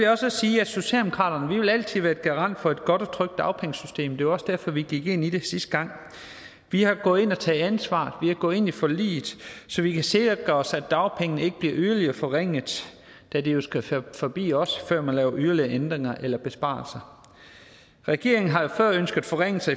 også sige at socialdemokratiet altid vil være garant for et godt og trygt dagpengesystem det var også derfor vi gik ind i det sidste gang vi har gået ind og taget ansvar vi er gået ind i forliget så vi kan sikre os at dagpengene ikke bliver yderligere forringet da det jo skal forbi os før man laver yderligere ændringer eller besparelser regeringen har jo før ønsket forringelser